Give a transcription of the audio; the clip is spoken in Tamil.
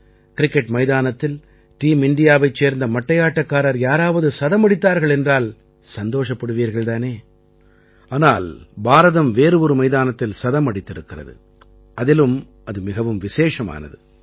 கிரிக்கெட் மைதானத்தில் டீம் இண்டியாவைச் சேர்ந்த மட்டையாட்டக்காரர் யாராவது சதம் அடித்தார்கள் என்றால் சந்தோஷப்படுவீர்கள் தானே ஆனால் பாரதம் வேறு ஒரு மைதானத்தில் சதம் அடித்திருக்கிறது அதிலும் அது மிகவும் விசேஷமானது